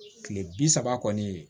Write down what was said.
Kile bi saba kɔni